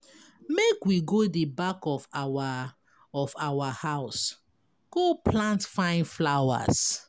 Make we go the back of our of our house go plant fine flowers.